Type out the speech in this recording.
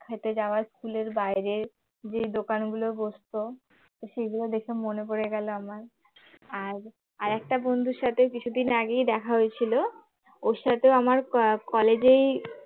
খেতে যাওয়া school এর বাইরে যে দোকানগুলো বসতো সেগুলো দেখে মনে পড়ে গেল আমার আর একটা বন্ধুর সাথে কিছুদিন আগেই দেখা হয়েছিল ওর সাথে আমার college এই